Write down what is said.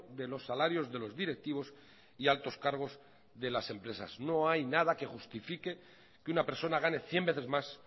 de los salarios de los directivos y altos cargos de las empresas no hay nada que justifique que una persona gane cien veces más